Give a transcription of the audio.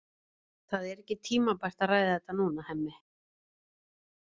Það er ekki tímabært að ræða þetta núna, Hemmi.